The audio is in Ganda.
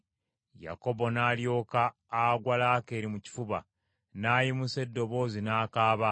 Yakobo n’alyoka agwa Laakeeri mu kifuba, n’ayimusa eddoboozi n’akaaba.